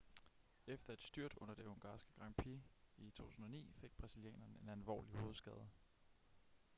efter et styrt under det ungarske grand prix i 2009 fik brasilianeren en alvorlig hovedskade